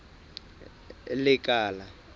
lekala